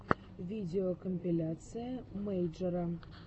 видеокомпиляция мэйджера